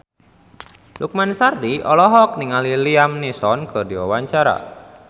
Lukman Sardi olohok ningali Liam Neeson keur diwawancara